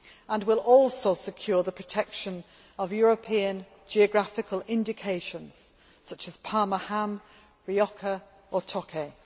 We will also secure the protection of European geographical indications, such as Parma ham, Rioja or Tokay.